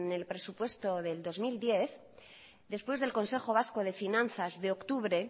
en el presupuesto del dos mil diez después del consejo vasco de finanzas de octubre